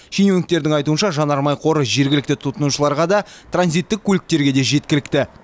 шенеуніктердің айтуынша жанармай қоры жергілікті тұтынушыларға да транзиттік көліктерге де жеткілікті